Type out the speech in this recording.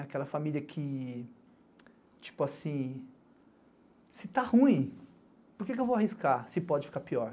Aquela família que, tipo assim, se tá ruim, por que eu vou arriscar se pode ficar pior?